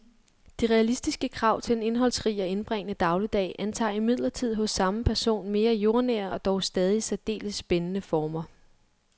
De realistiske krav til en indholdsrig og indbringende dagligdag antager imidlertid hos samme person mere jordnære og dog stadig særdeles spændende former.